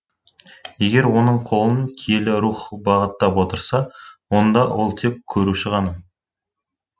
егер оның қолын киелі рух бағыттап отырса онда ол тек көшіруші ғана